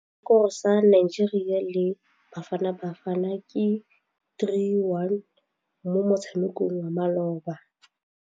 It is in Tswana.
Sekôrô sa Nigeria le Bafanabafana ke 3-1 mo motshamekong wa malôba.